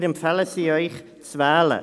Wir empfehlen Ihnen, sie zu wählen.